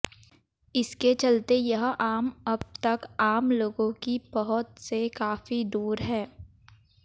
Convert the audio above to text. इसके चलते यह आम अब तक आम लोगों की पहुंच से काफी दूर है